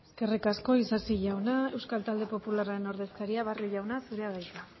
eskerrik asko isasi jauna euskal talde popularraren ordezkaria barrio jauna zurea da hitza